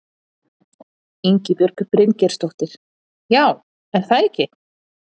Ingibjörg Bryngeirsdóttir: Já, er það ekki?